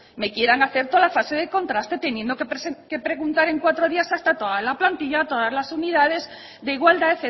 me quieran hacer toda la fase de contraste teniendo que preguntar en cuatro días hasta a toda la plantilla a todas las unidades de igualdad